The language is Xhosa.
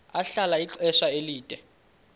ahlala ixesha elide